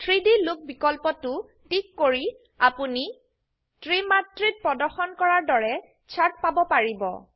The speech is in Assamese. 3ডি লুক বিকল্পটো টিক কৰি আপোনি ত্ৰিমাত্ৰিত প্ৰদৰ্শন কৰা দৰেচাৰ্ট পাব পাৰিব